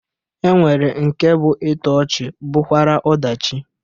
E nwere nke bụ ịtọ ọchị bụkwara ọdachi